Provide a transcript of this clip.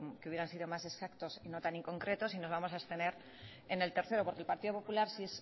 que hubieran sido más exactos y no tan inconcretos y nos vamos a abstener en el tercero porque el partido popular sí